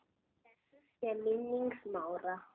Blessuð sé minning Smára.